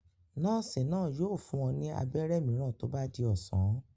Nọ́ọ́sì náà yóò fún ọ ní abẹ́rẹ́ mìíràn tó bá di ọ̀sán.